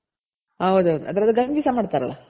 ಹೌದೌದು ಅದ್ರದು ಗಂಜಿ ಸಹ ಮಾಡ್ತಾರಲ್ಲ